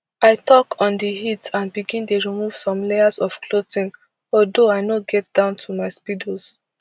i tok on di heat and begin dey remove some layers of clothing although i no get down to my speedos